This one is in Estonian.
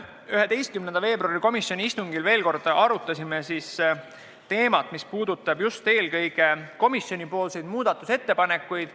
11. veebruari istungil arutasime veel kord teemat, mis puudutas eelkõige komisjoni muudatusettepanekuid.